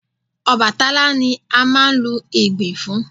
Ọbàtálá ni a máa ń lu Ìgbìn fún